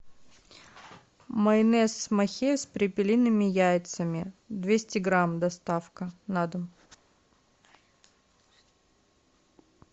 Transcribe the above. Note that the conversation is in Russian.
майонез махеев с перепелиными яйцами двести грамм доставка на дом